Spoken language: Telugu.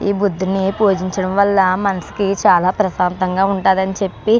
ఈ బుద్ధున్ని పూజించడం వల్ల మనసుకి చాలా ప్రశాంతంగా ఉంటాదని చెప్పి